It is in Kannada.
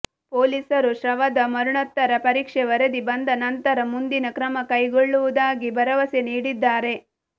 ಪೊಲೀಸರು ಶವದ ಮರಣೋತ್ತರ ಪರೀಕ್ಷೆ ವರದಿ ಬಂದ ನಂತರ ಮುಂದಿನ ಕ್ರಮ ಕೈಗೊಳ್ಳುವುದಾಗಿ ಭರವಸೆ ನೀಡಿದ್ದಾರೆ